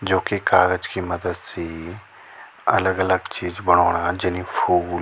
जोकि कागज़ की मदद से अलग-अलग चीज बणाेणा जन ये फूल।